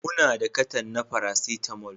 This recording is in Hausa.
Muna da cartoon na paracetamol